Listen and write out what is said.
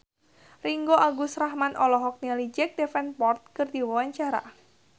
Ringgo Agus Rahman olohok ningali Jack Davenport keur diwawancara